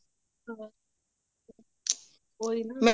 ਉਹੀ ਨਾ